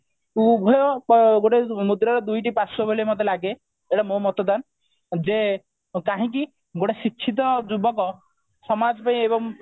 ଉଭୟ ପ ଗୋଟେ ମୁଦ୍ରାର ଦୁଇଟି ପାର୍ଶ୍ଵ ବୋଲି ମତେ ଲାଗେ ଏଟା ମୋ ମତଦାନ ଯେ କାହିକି ଗୋଟେ ଶିକ୍ଷିତ ଯୁବକ ସମାଜ ପାଇଁ ଏବଂ